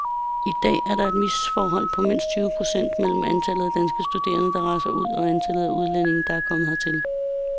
I dag er der et misforhold på mindst tyve procent mellem antallet af danske studerende, der rejser ud og antallet af udlændinge, der kommer hertil.